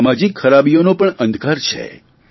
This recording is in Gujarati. સામાજિ ખરાબીઓનો પણ અંધકાર છે